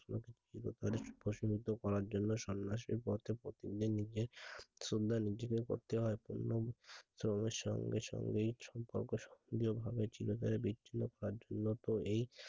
প্রশমিত করার জন্য সন্ন্যাসীর পথ নিজের সন্ধান নিজেদেরই করতে হয়। সঙ্গে সঙ্গেই সম্পর্ক চির তরে বিচ্ছিন্ন হয়ে যাইকার্যত এই,